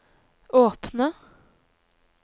åpne